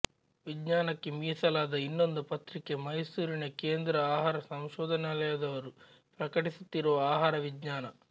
ವಿಜ್ಞಾನಕ್ಕೆ ಮೀಸಲಾದ ಇನ್ನೊಂದು ಪತ್ರಿಕೆ ಮೈಸೂರಿನ ಕೇಂದ್ರ ಆಹಾರ ಸಂಶೋಧನಾಲಯದವರು ಪ್ರಕಟಿಸುತ್ತಿರುವ ಆಹಾರ ವಿಜ್ಞಾನ